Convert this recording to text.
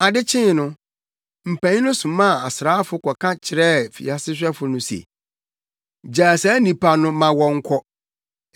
Ade kyee no, mpanyin no somaa asraafo kɔka kyerɛɛ afiase sohwɛfo no se, “Gyaa saa nnipa no ma wɔnkɔ.”